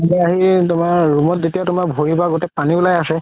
আহিল তুমাৰ room ত যেতিয়া তুমাৰ ভৰি সোপা তানিবলৈ আছে